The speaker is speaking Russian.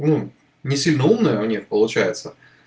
ну не сильно умная у них получается